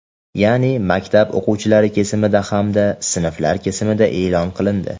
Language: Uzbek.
ya’ni maktab o‘quvchilari kesimida hamda sinflar kesimida e’lon qilindi.